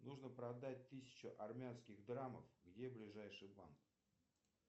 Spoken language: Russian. нужно продать тысячу армянских драмов где ближайший банк